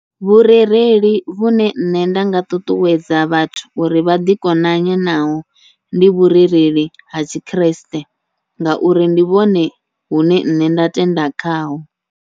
Vhurereli vhune nṋe nda nga ṱuṱuwedza vhathu uri vha ḓi konanye naho, ndi vhurereli ha tshikriste ngauri ndi vhone vhune nṋe nda tenda khaho.